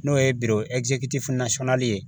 N'o ye ye